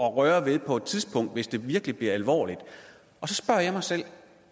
røre ved på et tidspunkt hvis det virkelig bliver alvorligt og så spørger jeg mig selv